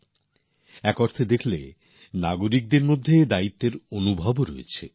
দেখতে গেলে অনেক দিক থেকে নাগরিকদের মধ্যে দায়িত্ববোধও আছে